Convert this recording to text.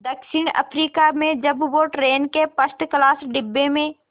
दक्षिण अफ्रीका में जब वो ट्रेन के फर्स्ट क्लास डिब्बे में